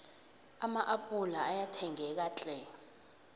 ama appula ayathengeka tlhe